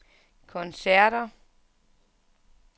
koncerter